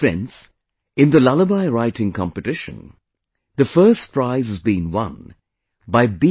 Friends, in the lullaby writing competition, the first prize has been won by B